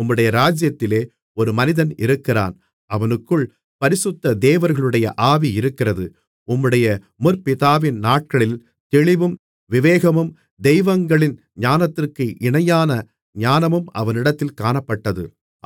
உம்முடைய ராஜ்ஜியத்திலே ஒரு மனிதன் இருக்கிறான் அவனுக்குள் பரிசுத்த தேவர்களுடைய ஆவி இருக்கிறது உம்முடைய முற்பிதாவின் நாட்களில் தெளிவும் விவேகமும் தெய்வங்களின் ஞானத்திற்கு இணையான ஞானமும் அவனிடத்தில் காணப்பட்டது